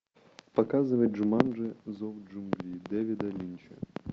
показывай джуманджи зов джунглей дэвида линча